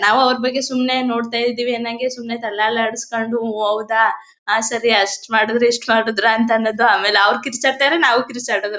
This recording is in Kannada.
ನಾವು ಅವರ ಬಗ್ಗೆ ಸುಮ್ನೆ ನೋಡ್ತಾ ಇದ್ದಿವಿ ಅನ್ನೊಂಗೆ ಸುಮ್ನೆ ತಲೆ ಅಲ್ಲಾಡಿಸ್ಕೊಂಡು ಓ ಹೌದ ಆ ಸರಿ ಅಷ್ಟ್ ಮಾಡಿದ್ರ ಇಷ್ಟ್ ಮಾಡಿದ್ರ ಅಂತ ಅನ್ನೋದು. ಆಮೇಲೆ ಅವ್ರು ಕಿರುಚಾಡ್ತಾರೆ ನಾವು ಕಿರುಚಾಡೋದು.